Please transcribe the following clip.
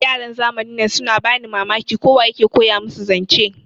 Yaran zamanin nan suna bani Mamaki, ko wa ya ke koya musu zance.